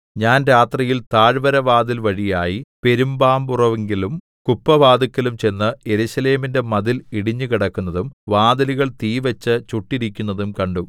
ഞാൻ രാത്രിയിൽ താഴ്വരവാതിൽ വഴിയായി പെരുമ്പാമ്പുറവിങ്കലും കുപ്പവാതില്ക്കലും ചെന്ന് യെരൂശലേമിന്റെ മതിൽ ഇടിഞ്ഞുകിടക്കുന്നതും വാതിലുകൾ തീവെച്ച് ചുട്ടിരിക്കുന്നതും കണ്ടു